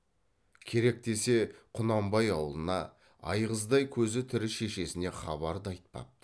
керек десе құнанбай аулына айғыздай көзі тірі шешесіне хабар да айтпапты